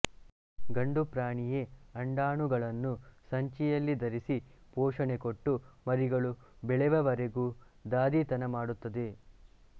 ಗಂಡು ಪ್ರಾಣಿಯೇ ಅಂಡಾಣುಗಳನ್ನು ಸಂಚಿಯಲ್ಲಿ ಧರಿಸಿ ಪೋಷಣೆ ಕೊಟ್ಟು ಮರಿಗಳು ಬೆಳೆವವರೆಗೂ ದಾದಿತನ ಮಾಡುತ್ತದೆ